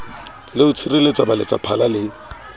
le ho tshireletsa baletsaphala le